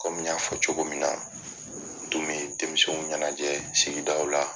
Komi n y'a fɔ cogo min na, n tun bi denmisɛnw ɲɛnajɛ sigidaw la